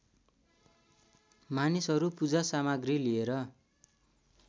मानिसहरू पूजासामग्री लिएर